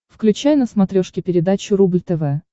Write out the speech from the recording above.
включай на смотрешке передачу рубль тв